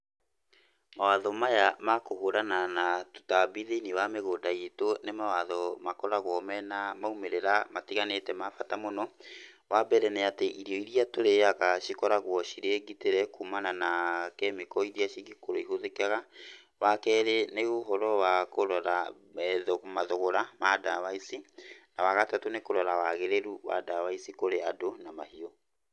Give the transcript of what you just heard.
Mawatho maya ma kũhũrana na tũtambi thĩiniĩ wa mĩgũnda itũ nĩ mawatho makoragwo mena maumĩrĩra matiganĩte ma bata mũno. Wambere nĩ atĩ irio iria tũrĩaga cikoragwo cirĩ ngitĩre kumana na kemiko iria cingĩkorwo ihũthĩkaga. Wa kerĩ nĩ ũhoro wa kũrora mathogora ma ndawa ici. Na wagatatũ nĩ kũrora wagĩrĩru wa ndawa ici kũrĩ andũ na mahiũ.